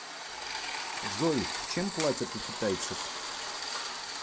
джой чем платят у китайцев